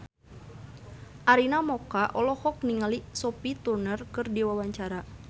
Arina Mocca olohok ningali Sophie Turner keur diwawancara